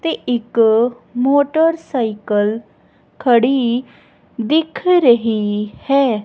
ਤੇ ਇੱਕ ਮੋਟਰਸਾਈਕਲ ਖੜੀ ਦਿੱਖ ਰਹੀ ਹੈ।